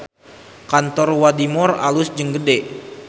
Kantor Wadimor alus jeung gede